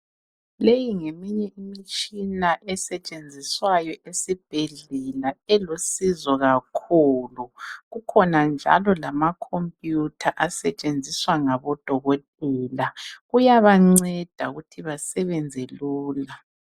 Leyi ngeminye imitshina esetshenziswayo esibhedlela elusizo kakhulu kukhona njalo lamakhompuyutha asetshenziswa ngabodokotela kuyabanceda ukuthi besebenze lula.